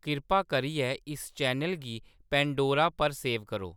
किरपा करियै इस चैनल गी पैंडोरा पर सेव करो